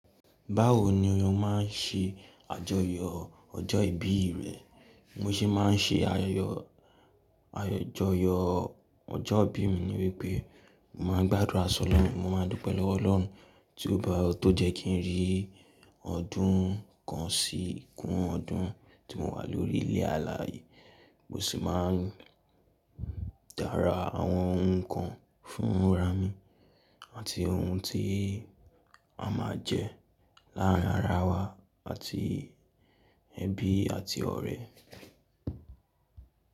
Báwo ni ose máa ń ṣe àjọyọ̀ ọjọ́ ìbí rẹ? Bimo se máa ń ṣe ayẹyẹ, àjọyọ̀ ọjọ́ ìbí mi níwípé mo máa ń gbádùrà sí Ọlọ́run, mo máa dúpẹ́ lọ́wọ́ Ọlọ́run tí ó bá, tó jẹ́ kí n rí ọdún kan sí kún ọdún tí mo wà lórí ilé alààyè. Mo sì máa ń dá ra àwọn ohun kan fún arami àti ohun tí a máa jẹ́ láàárín ara wa àti ẹbí àti ọ̀rẹ́.